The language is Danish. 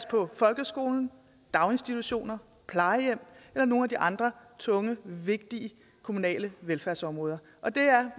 på folkeskolen daginstitutionerne plejehjemmene eller nogle af de andre tunge vigtige kommunale velfærdsområder og det er